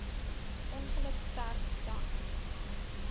ongeluk sterf dan